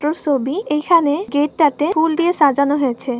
তো ছবির এখানে গেট টাতে ফুল দিয়ে সাজানো হয়েছে।